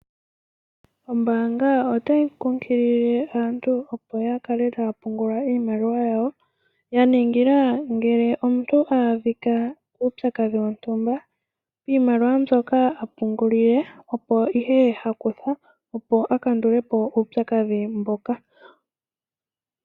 Ombaanga otayi kunkilile aantu opo yakale taya pungula iimaliwa yawo, yaningila ngele omuntu ahadhika kuupyakadhi wontumba iimaliwa mbyoka apungula, opo ihe hakutha opo akandule po uupyakadhi mboka.